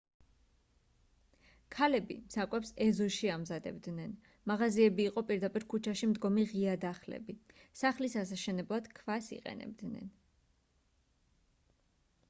ქალები საკვებს ეზოში ამზადებდნენ მაღაზიები იყო პირდაპირ ქუჩაში მდგომი ღია დახლები სახლის ასაშენებლად ქვას იყენებდნენ